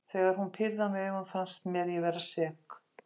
Þegar hún pírði á mig augun fannst mér ég vera sek.